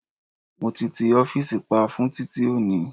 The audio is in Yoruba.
Mo ti ti ọ́fìsì pa fún titi oni